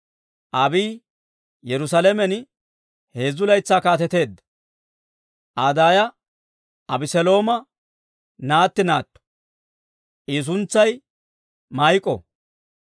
Abiiyi Yerusaalamen heezzu laytsaa kaateteedda. Aa daaya Abeselooma naatti naatto; I suntsay Maa'iko.